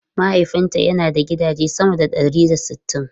Mahaifinta yana da gidaje sama da ɗari da sittin.